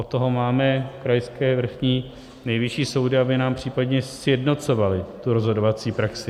Od toho máme krajské, vrchní, nejvyšší soudy, aby nám případně sjednocovaly tu rozhodovací praxi.